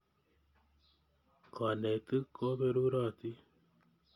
Kanetik koperurotin.